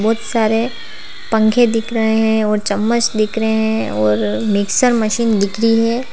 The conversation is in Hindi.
बहुत सारे पंखे दिख रहे हैं और चम्मच दिख रहे हैं और मिक्सर मशीन दिखी है।